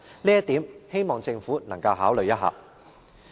這一點，希望政府能夠予以考慮。